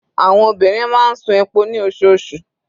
Àwọn obìnrin máa ń ṣu epo ní osoosù.